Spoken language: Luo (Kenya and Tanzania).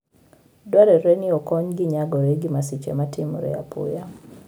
Dwarore ni okonygi nyagore gi masiche ma timore apoya.